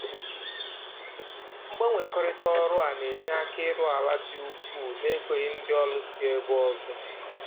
Mgbanwekọrịta ọrụ a na-enye aka ịrụ ala dị ukwu na-egoghị ndị ọrụ si ebe ọzọ